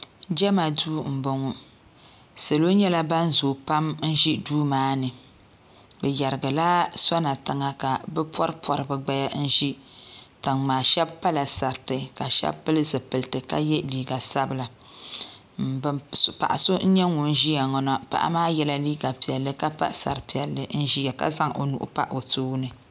Jema duu ma boŋɔ salo nyɛla ban zoo pam n ʒi duu maani bɛ yerigila sona tiŋa ka bɛ pori pori bɛ gbaya n ʒi tiŋmaa sheba pala sariti ka sheba pili zipilti ka ye liiga sabila paɣa so n nyɛ ŋun ʒia ŋɔ na paɣ. maa yela liiga piɛlli ka pa sari piɛlli ka zaŋ o nuu pa o tooni.